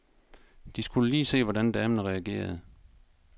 De skulle lige se, hvordan damen reagerede.